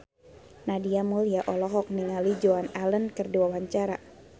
Nadia Mulya olohok ningali Joan Allen keur diwawancara